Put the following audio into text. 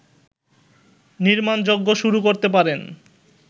নির্মাণযজ্ঞ শুরু করতে পারেন